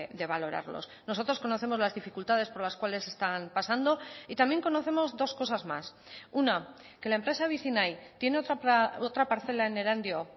de valorarlos nosotros conocemos las dificultades por las cuales están pasando y también conocemos dos cosas más una que la empresa vicinay tiene otra parcela en erandio